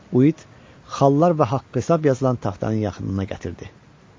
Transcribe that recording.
Uit xallar və haqq-hesab yazılan taxtanın yaxınına gətirdi.